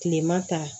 Kilema ta